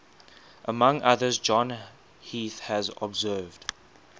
among others john heath has observed